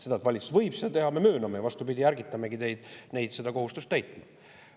Seda, et valitsus võib seda teha, me mööname, ja vastupidi, ärgitamegi neid seda kohustust täitma.